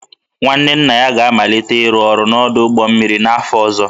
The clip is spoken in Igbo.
nwanne nna ya ga-amalite ịrụ ọrụ n'ọdụ ụgbọ mmiri n'afọ ọzọ